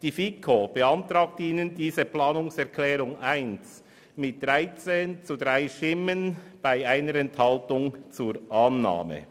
Die FiKo beantragt Ihnen die Planungserklärung 1 mit 13 zu 3 Stimmen bei 1 Enthaltung zur Annahme.